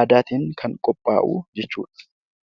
aadaatiin kan qophaa'u jechuudha.